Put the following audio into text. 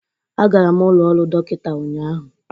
Agara m ụlọ ọrụ dọkịta ụnyaahụ.